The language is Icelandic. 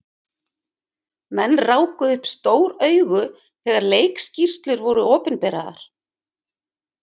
Menn ráku upp stór augu þegar leikskýrslur voru opinberaðar.